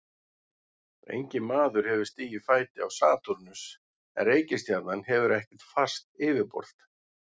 Enginn maður hefur stigið fæti á Satúrnus en reikistjarnan hefur ekkert fast yfirborð.